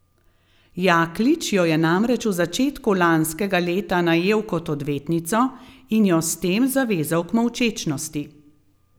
Jaklič jo je namreč v začetku lanskega leta najel kot odvetnico in jo s tem zavezal k molčečnosti.